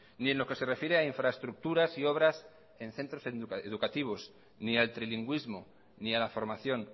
ni en lo que se refiere a infraestructuras y obras en centros educativos ni al trilingüísmo ni a la formación